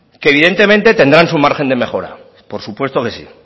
que evidentemente tendrán su margen de mejora por supuesto que sí